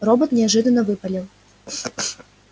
робот неожиданно выпалил